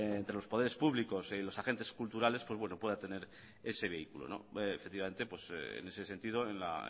entre los poderes públicos y los agentes culturales pues pueda tener ese vehículo efectivamente en ese sentido en la